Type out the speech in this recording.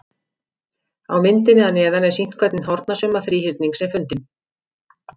Á myndinni að neðan er sýnt hvernig hornasumma þríhyrnings er fundin.